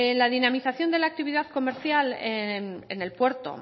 la dinamización de la actividad comercial en el puerto